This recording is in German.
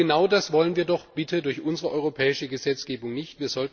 Und genau das wollen wir doch durch unsere europäische Gesetzgebung nicht.